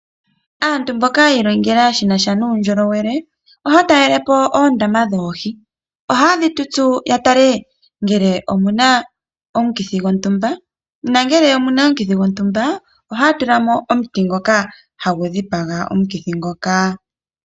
Aantu mboka ya ilongela shinasha nuundjolowele, ohaya talele po oondama dhoohi. Ohaye dhi tutsu ya tale ngele omu na omukithi gontumba, nongele omu na omukithi gontumba ohaya tula mo omuti ngoka ha gu dhipaga omukithi ngoka.